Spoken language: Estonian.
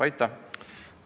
Aitäh!